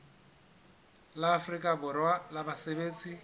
la afrika borwa la basebetsi